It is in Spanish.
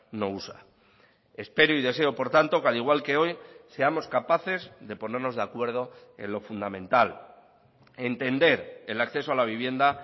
no usa espero y deseo por tanto que al igual que hoy seamos capaces de ponernos de acuerdo en lo fundamental entender el acceso a la vivienda